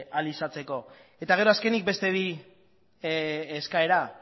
ahal izateko eta gero azkenik beste bi eskaera